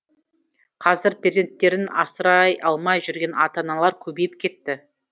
қазір перзенттерін асырай алмай жүрген ата аналар көбейіп кетті